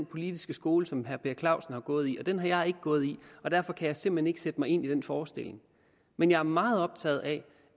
politiske skole som herre per clausen har gået i for at forstå den har jeg ikke gået i og derfor kan jeg simpelt hen ikke sætte mig ind i den forestilling men jeg er meget optaget af